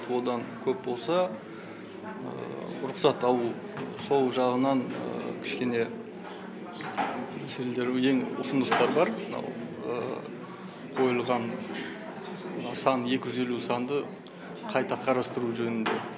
одан көп болса рұқсат алу сол жағынан кішкене ұсыныстар мәселелер ең бар мынау қойылған мына сан екі жүз елу санды қайта қарастыру жөнінде